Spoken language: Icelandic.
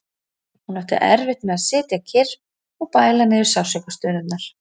Hún átti erfitt með að sitja kyrr og bæla niður sársaukastunurnar.